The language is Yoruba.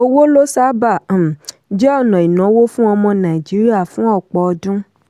owó ló sábà um jẹ́ ọ̀nà ìnáwó fún ọmọ nàìjíríà fún ọ̀pọ̀ ọdún.